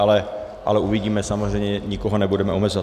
Ale uvidíme, samozřejmě nikoho nebudeme omezovat.